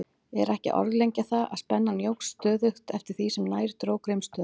Er ekki að orðlengja það, að spennan jókst stöðugt eftir því sem nær dró Grímsstöðum.